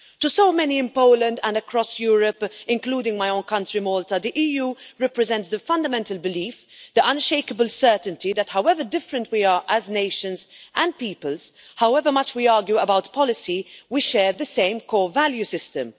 To so many in Poland and across Europe, including my own country, Malta, the EU represents the fundamental belief, the unshakable certainty, that however different we are as nations and peoples, however much we argue about policy, we share the same core value system.